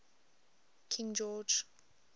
king george